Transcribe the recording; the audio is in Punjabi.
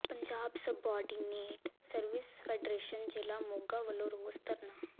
ਪੰਜਾਬ ਸੁਬਾਰਡੀਨੇਟ ਸਰਵਿਸਿਜ਼ ਫੈਡਰੇਸ਼ਨ ਜ਼ਿਲ੍ਹਾ ਮੋਗਾ ਵੱਲੋਂ ਰੋਸ ਧਰਨਾ